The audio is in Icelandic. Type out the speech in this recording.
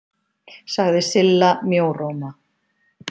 sagði Silla mjóróma.